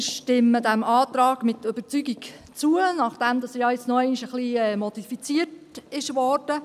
Wir stimmen diesem Antrag mit Überzeugung zu, nachdem er ja jetzt noch einmal leicht modifiziert wurde.